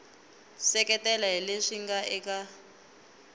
seketela hi leswi nga eka